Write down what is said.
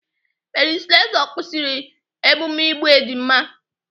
Mary Slessor kwụsịrị emume igbu ejima.